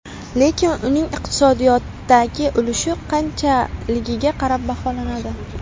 Lekin uning iqtisodiyotdagi ulushi qanchaligiga qarab baholanadi.